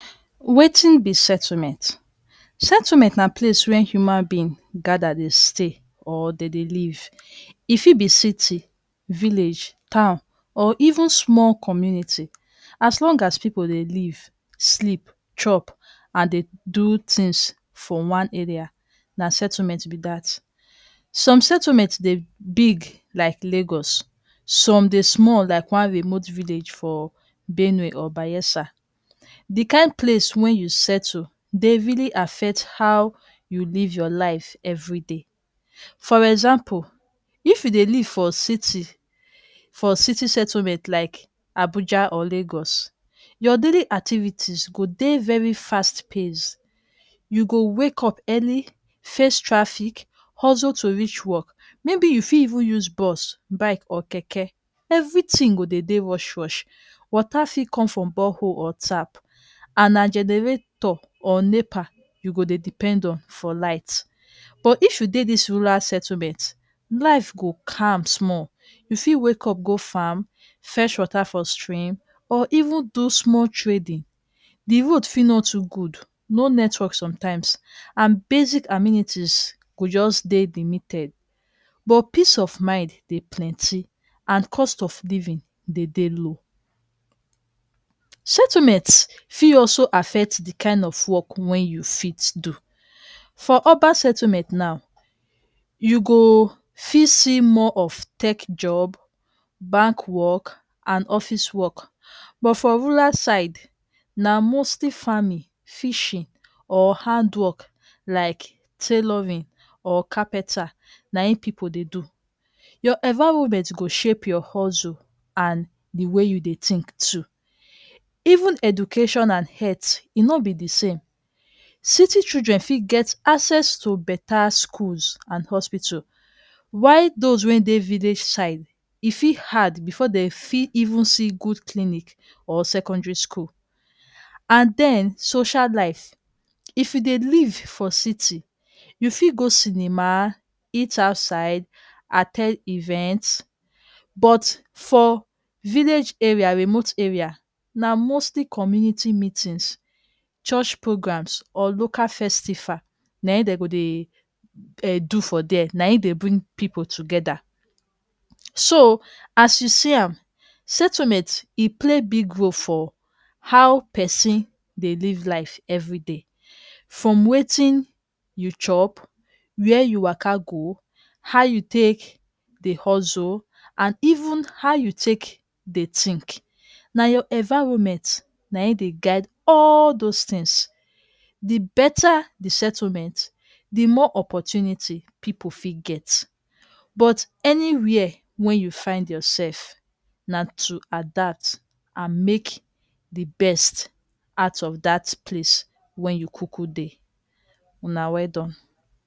Wetin be Settlement? Settlement na any place wey human beings come gather dey live. E fit be city, village, town or even small community. As long as people dey live, sleep, chop, and do things for one area, na place na settlement. Some settlements dey big, like Lagos, while some small, like one remote village for Benue or Bayelsa. The kain place wey you settle dey really affect how you live your life everyday for example If you dey stay for city settlement like Abuja or Lagos, your daily activities go dey very fast paced. You go wake up early, face traffic, hustle to reach work. maybe you fi even use bus, bike or keke. Everything do dey dey rush rush water fi come from borehole or tap, and na generator or NEPA you go dey depend on for light, but if you dey dis rural settlement you dey, life dey calm small You fit wake up go farm, fetch water for stream, or even do small trading. the Road fi no too good, no network sometimes, and basic amenities go just dey limited. But peace of mind dey plenty and cost of living dey dey low. Settlements also fi affect the kain of work wey you fit do. For urban settlement now, you go fit see tech jobs, banking, office work and plenty other opportunities. for rural side na mostly farming, fishing, or handwork like tailoring or carpenter na im people they do. Your environment go shape your hustle and even how you dey think too. even Education and health e no be the same. city children fi get access to better schools and hospitals, while children wey dey village side fit hard before dey go even see good clinic or secondary school and then social life. If you dey live for city, you fi go cinema, eat outside, at ten d events. but for village area, remote area, na mostly community meeting, church program, or local festival na im dey bring people together so as you see am, settlement play big role for how person dey live life everyday from wetin you chop, where you waka go, how you take dey hustle and even how you take dey think. na your environment na im dey guide all those tins, the better the settlement the more opportunity people fi get, but anywhere wey you find yourself na to adapt, make the best out of that place wey you kuku dey, una well done.